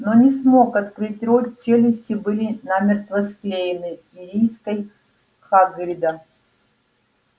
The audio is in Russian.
но не смог открыть рот челюсти были намертво склеены ириской хагрида